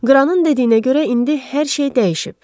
Qranın dediyinə görə indi hər şey dəyişib.